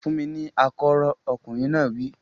Fún mi ní akọ́rọ́! Ọkùnrin náà wí.